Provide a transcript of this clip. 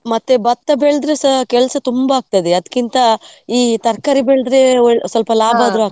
ಮತ್ತೆ ಭತ್ತ ಬೆಳೆದ್ರೆ ಸಾ ಕೆಲಸ ತುಂಬಾ ಆಗ್ತದೆ ಅದಕ್ಕಿಂತ ಈ ತರಕಾರಿ ಬೆಳೆದ್ರೆ ಒಳ್ಳೆ ಸ್ವಲ್ಪ .